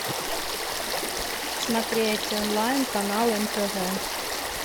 смотреть онлайн канал нтв